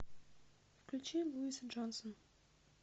включи луиза джонсон